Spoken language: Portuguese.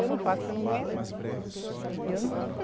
Eu não faço que eu não aguento. Eu não